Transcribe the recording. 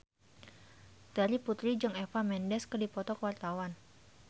Terry Putri jeung Eva Mendes keur dipoto ku wartawan